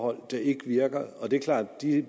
der ikke virker det er klart at de